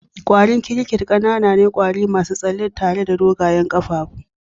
kwarin crickets ƙanana ne, kwari masu tsalle tare da dogayen kafafu.